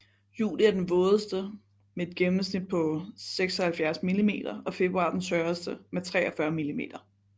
Juli er den vådeste med et gennemsnit på 76 millimeter og februar den tørreste med 43 millimeter